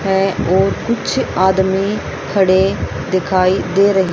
है और कुछ आदमी खड़े दिखाई दे रही--